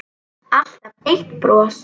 Alltaf eitt bros.